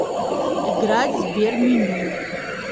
играть в сберменю